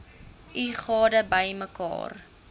u gade bymekaar